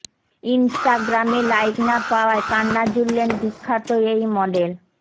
ইন্সটাগ্রামে like না পাওয়ায় কান্না জুড়লেন বিখ্যাত এই মডেল